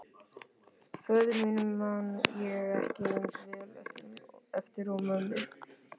Föður mínum man ég ekki eins vel eftir og mömmu.